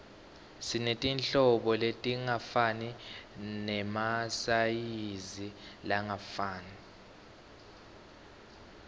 sinetinhlobo letingafani nemasayizi langafani